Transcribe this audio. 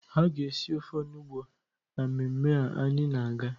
A ga-esi ofe onugbu na mmemme a anyị na-aga.